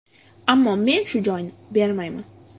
Ammo men shu joyni bermayman.